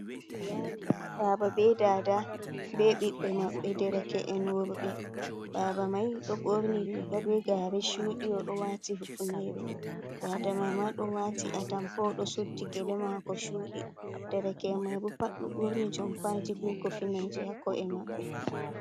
Baba, be Dada be Ɓiɓbe maɓɓe dereke’en wurbe. Baba mai ɗo ɓurni riga be gare chudi, o ɗo wati hufnere. Dada mai ma ɗo wati atampa ɗo suddi gele mako chudi. Ɗereke'en mai bo pat ɗo ɓurni jompaji be kofineje hako’e mabɓe